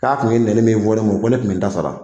K'a kun ye nɛni min fɔ ne ma, ko ne kun bi n ta sara.